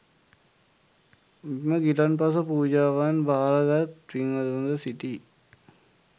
මෙම ගිලන්පස පූජාවන් භාරගත් පින්වතුන්ද සිටී.